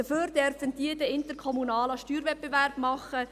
Dafür dürfen diese dann interkommunalen Steuerwettbewerb machen.